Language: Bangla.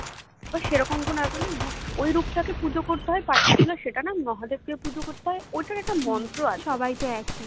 তো সেরকম কোনো ব্যাপার নেই ওই রূপটাকে পুজো করতে হয় particular সেটা না মহাদেবকে পূজা করতে হয় ঐটার একটা মন্ত্র আছে